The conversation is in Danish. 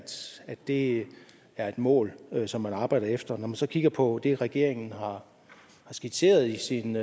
det er et mål som man arbejder efter når man så kigger på det regeringen har skitseret i sin